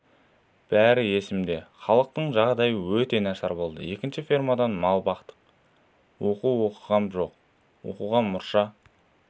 бәрі есімде халықтың жағдайы өте нашар болды екінші фермада мал бақтық оқу оқығам жоқ оқуға мұрша